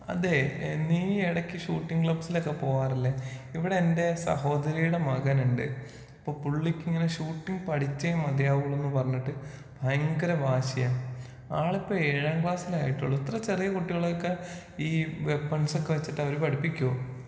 അതേ, നീ എടക്ക് ഷൂട്ടിംഗ് ക്ലബ്സിലൊക്കെ പോവാറില്ലെ? ഇവിടെ എന്റെ സഹോദരിയുടെ മകനുണ്ട്. അപ്പൊ പുള്ളിക്കിങ്ങനെ ഷൂട്ടിംഗ് പഠിച്ചേ മതിയാവൂ എന്ന് പറഞ്ഞിട്ട് ഭയങ്കര വാശിയാ. ആളിപ്പൊ ഏഴാം ക്ലാസ്സിലെ ആയിട്ടൊള്ളു ഇത്ര ചെറിയ കുട്ടികളെയൊക്കെ ഈ വെപ്പൺസൊക്കെ വെച്ചിട്ട് അവര് പഠിപ്പിക്കോ?